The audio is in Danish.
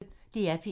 DR P1